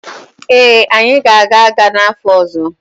ee, anyị ga-aga agha n’afọ ọzọ